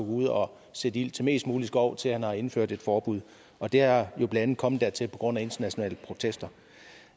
ud og sætte ild til mest mulig skov til at han har indført et forbud og det er blandt andet kommet dertil på grund af internationale protester